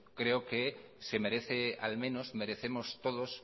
creo que al menos merecemos todos